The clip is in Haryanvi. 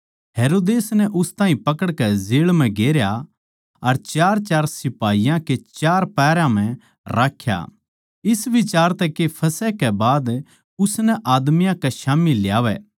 हेरोदेस नै उस ताहीं पकड़कै जेळ म्ह गेरया अर चारचार सिपाहियाँ के चार पहरया म्ह राख्या इस बिचार तै के फसह कै बाद उसनै आदमियाँ कै स्याम्ही ल्यावै